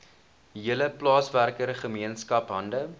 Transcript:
hele plaaswerkergemeenskap hande